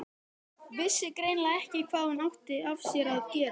Vissi greinilega ekki hvað hún átti af sér að gera.